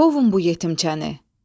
Qovun bu yetimçəni.